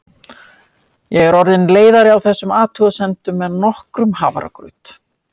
Ég var orðin leiðari á þessum athugasemdum en nokkrum hafragraut.